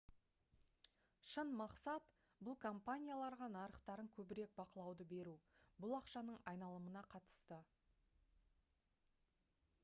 шын мақсат бұл компанияларға нарықтарын көбірек бақылауды беру бұл ақшаның айналымына қатысты